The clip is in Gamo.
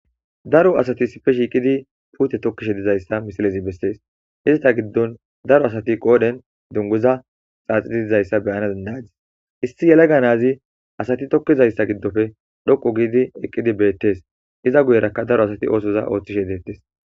Daro asati sife shiiqidi puute tokkishe dizayssa misilezi bessees izata giddon daro asati qoodhen dunguza xaaxitiizayssa beyanadandadis issi yelaganazi asati tokkizayssa giddofe dhoqu giidi eqqidi beettees iza guyerakka daro asati oosoza ooththishe deettes.